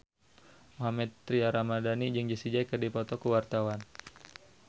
Mohammad Tria Ramadhani jeung Jessie J keur dipoto ku wartawan